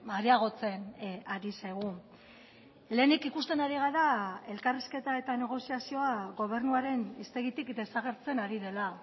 areagotzen ari zaigu lehenik ikusten ari gara elkarrizketa eta negoziazioa gobernuaren hiztegitik desagertzen ari dela